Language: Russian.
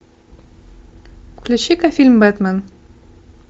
включи ка фильм бэтмен